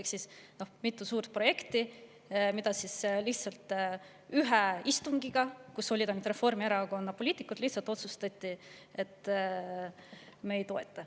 Ehk siis mitme suure projekti puhul otsustati lihtsalt ühel istungil, kus olid ainult Reformierakonna poliitikud, et me ei toeta neid.